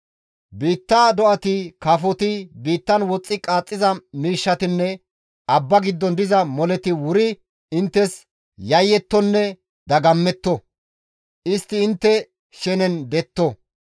Biitta do7ati, kafoti, biittan woxxi qaaxxiza miishshatinne abba giddon diza moleti wuri inttes yayettonne dagammetto; istti intte shenen detto.